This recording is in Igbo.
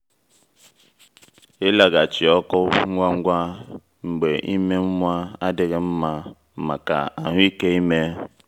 ịlaghachi ọkụ ngwa ngwa mgbe ime nwa adịghị nma maka ahụ́ike ime.